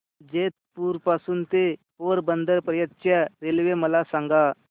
जेतपुर पासून ते पोरबंदर पर्यंत च्या रेल्वे मला सांगा